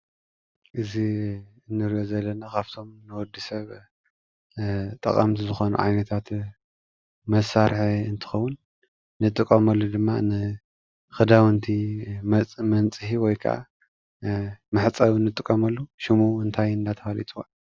እዚ ንሪኦ ዘለና ካብቶም ንወድስብ ጠቀምቲ ዝኮኑ ዓይነታት መሳሪሒ እንትከውን ንጥቀመሉ ድማ ንክዳውንቲ መንፅሂ ወይ ከዓ መሕፀቢ ንጥቀመሉ ሽሙ እንታይ እናተባህለ ይፅዋዕ?